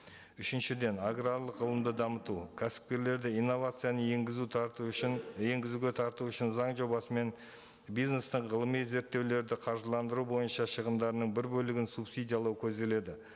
үшіншіден аграрлық ғылымды дамыту кәсіпкерлерді инновацияны енгізу тарту үшін енгізуге тарту үшін заң жобасымен бизнестің ғылыми зерттеулерді қаржыландыру бойынша шығымдарының бір бөлігін субсидиялау көзделеді